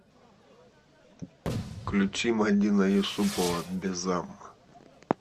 включи мадина юсупова безам